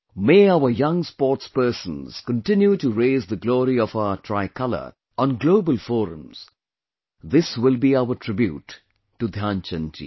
May our young sportspersons continue to raise the glory of our tricolor on global forums, this will be our tribute to Dhyan Chand ji